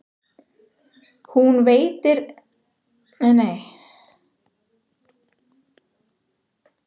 Hún veltir við steinum, skeljum og þangi í fjörunni í leit að smádýrum.